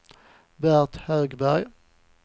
Bert Högberg